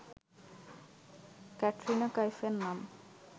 ক্যাটরিনা কাইফের নাম